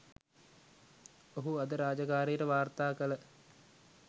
ඔහු අද රාජකාරියට වාර්තා කළ